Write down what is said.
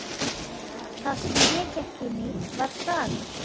Það sem ég gekk inn í var saga.